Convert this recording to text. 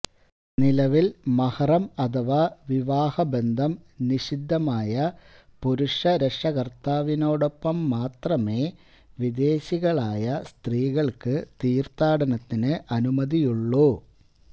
നിലവില് മഹറം അഥവാ വിവാഹബന്ധം നിശിദ്ധമായ പുരുഷ രക്ഷകര്ത്താവിനോടൊപ്പം മാത്രമേ വിദേശികളായ സ്ത്രീകള്ക്ക് തീര്ത്ഥാടനത്തിന് അനുമതിയുള്ളൂ